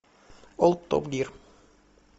ол топ гир